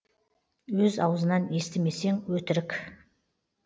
өз аузынан естісмесең өтірік